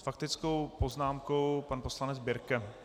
S faktickou poznámkou pan poslanec Birke.